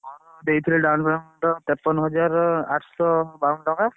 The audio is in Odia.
ମୁଁ ଦେଇଥିଲି down payment ତେପନ ହଜାର ଆଠସହ ବାଉନୁ ଟଙ୍କା।